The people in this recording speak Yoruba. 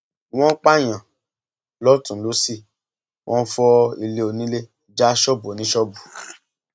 wọn ń pààyàn lọtùnún lósì wọn ń fọ ilé onílẹ já ṣọọbù oníṣọọbù